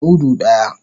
Mudu daya.